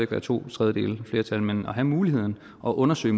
være to tredjedeles flertal men at have muligheden og undersøge